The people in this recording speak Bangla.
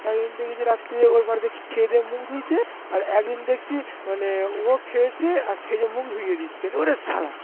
একদিন দেখছি রাত্রে খেয়েদেয়ে ওর বাড়িতে মুখ ধুচ্ছে আর একদিন দেখছি মানে ও খেয়েছে গিয়ে মুখ ধুয়ে দিচ্ছে। ওরে শালা